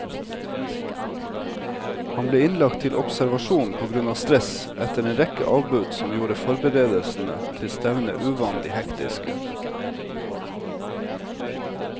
Han ble innlagt til observasjon på grunn av stress, etter en rekke avbud som gjorde forberedelsene til stevnet uvanlig hektiske.